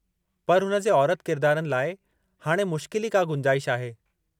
पर हुन जे औरति जे किरदारनि लाइ हाणि मुश्किल ई का गुंजाइश नाहे।